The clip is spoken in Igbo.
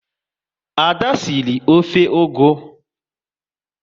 Ada sịrị ofe ugu